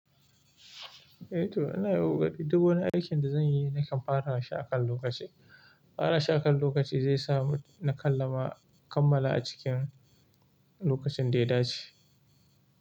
E to ina yin kokari duk wani aikin da zan yi nakan fara shi a kan lokaci. Fara shi akan lokaci zai sa na kammala a cikin lokacin da ya dace.